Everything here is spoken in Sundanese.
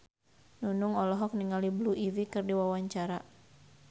Nunung olohok ningali Blue Ivy keur diwawancara